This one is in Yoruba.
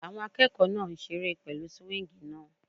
Àwọn akẹ́kọ̀ọ́ náà ń seré pẹ̀lú súwíngì náà